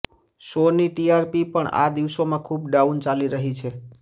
શોની ટીઆરપી પણ આ દિવસોમાં ખુબ ડાઉન ચાલી રહી છે